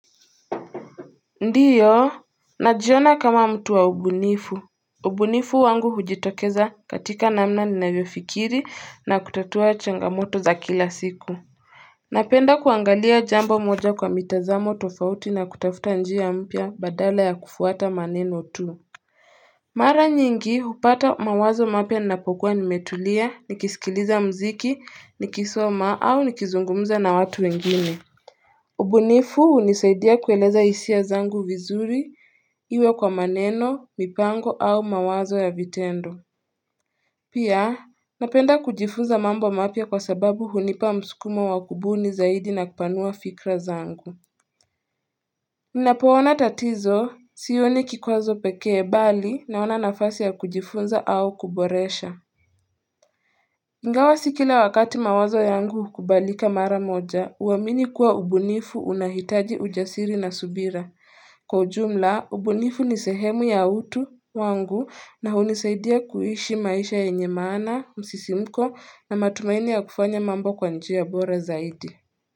Ndio, najiona kama mtu wa ubunifu. Ubunifu wangu hujitokeza katika namna ninavyofikiri na kutatua changamoto za kila siku Napenda kuangalia jambo moja kwa mitazamo tofauti na kutafuta njia mpya badala ya kufuata maneno tu. Mara nyingi hupata mawazo mapya ninapokuwa nimetulia nikisikiliza muziki, nikisoma au nikizungumza na watu wengine ubunifu hunisaidia kueleza hisia zangu vizuri, iwe kwa maneno, mipango au mawazo ya vitendo. Pia, napenda kujifunza mambo mapya kwa sababu hunipa msukumo wa kubuni zaidi na kupanua fikra zangu. Ninapoona tatizo, sioni kikwazo pekee bali naona nafasi ya kujifunza au kuboresha. Ingawa si kila wakati mawazo yangu hukubalika mara moja, huamini kuwa ubunifu unahitaji ujasiri na subira. Kwa ujumla, ubunifu ni sehemu ya utu wangu na hunisaidia kuishi maisha yenye maana, msisimuko na matumaini ya kufanya mambo kwa njia bora zaidi.